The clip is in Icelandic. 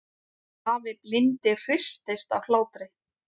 Afi blindi hristist af hlátri.